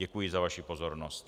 Děkuji za vaši pozornost.